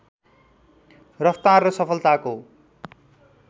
रफ्तार र सफलताको